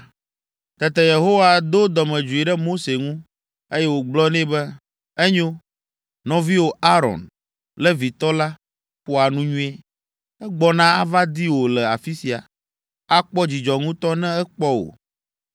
Tete Yehowa do dɔmedzoe ɖe Mose ŋu, eye wògblɔ nɛ be, “Enyo, nɔviwò Aron, Levitɔ la, ƒoa nu nyuie, egbɔna ava di wò le afi sia. Akpɔ dzidzɔ ŋutɔ ne ekpɔ wò,